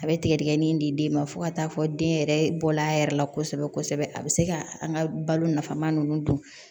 A bɛ tigɛdigɛnin di den ma fo ka taa fɔ den yɛrɛ bɔla a yɛrɛ la kosɛbɛ kosɛbɛ a bi se ka an ka balo nafama nunnu don